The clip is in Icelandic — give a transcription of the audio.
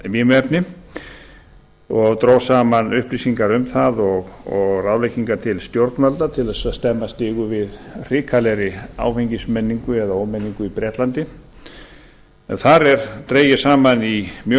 vímuefni og dró saman upplýsingar um það og ráðleggingar til stjórnvalda til þess að stemma stigu við hrikalegri áfengismenningu eða ómenningu í bretlandi það er dregið saman mjög